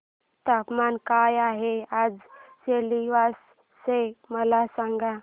तापमान काय आहे आज सिलवासा चे मला सांगा